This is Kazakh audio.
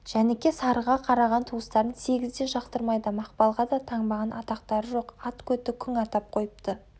жәніке-сарыға қараған туыстарын сегіз де жақтырмайды мақпалға да таңбаған атақтары жоқ ат көті күң атап қойыпты